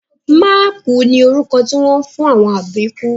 Mákùú ni orúkọ tí wọ́n ń fún àwọn àbíkú